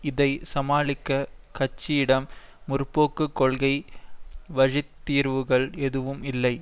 இதை சமாளிக்க கட்சியிடம் முற்போக்கு கொள்கை வழி தீர்வுகள் எதுவும் இல்லை